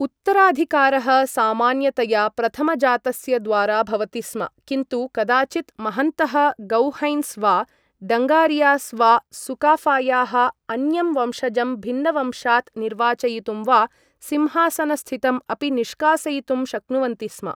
उत्तराधिकारः सामान्यतया प्रथमजातस्य द्वारा भवति स्म, किन्तु कदाचित् महन्तः गोहैन्स् वा डङ्गारियास् वा सुकाफायाः अन्यं वंशजं भिन्नवंशात् निर्वाचयितुं वा सिंहासनस्थितम् अपि निष्कासयितुं शक्नुवन्ति स्म।